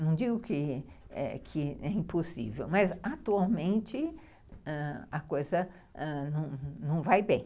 Não digo que é impossível, mas atualmente ãh a coisa não vai bem.